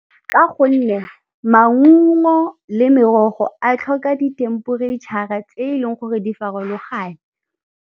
Ka gonne maungo le merogo a tlhoka di temperetšhara tse e leng gore di farologane.